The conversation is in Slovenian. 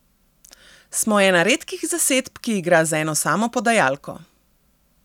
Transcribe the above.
Smo ena redkih zasedb, ki igra z eno samo podajalko.